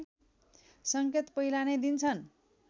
संकेत पहिला नै दिन्छन्